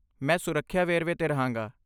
ਮੈਂ ਸੁਰੱਖਿਆ ਵੇਰਵੇ 'ਤੇ ਰਹਾਂਗਾ।